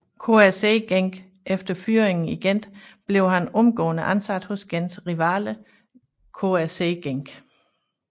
KRC Genk Efter fyringen i Gent blev han omgående ansat hos Gents rivaler KRC Genk